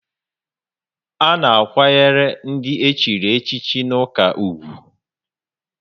A na akwanyere ndị echiri echi n' ụka ùgwù